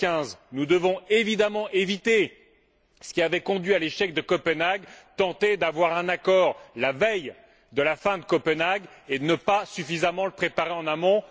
2015. Nous devons, évidemment, éviter ce qui avait conduit à l'échec de Copenhague tenter d'avoir un accord la veille de la fin de Copenhague et ne pas suffisamment le préparer en amont.